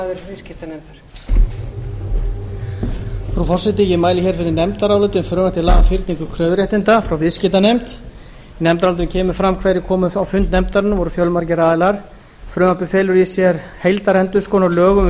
mæli fyrir nefndaráliti um frumvarp til laga um fyrning kröfuréttinda frá viðskiptanefnd í nefndarálitinu kemur fram hverjir koma á fund nefndarinnar það voru fjölmargir aðilar frumvarpið felur í sér heildarendurskoðun á lögum um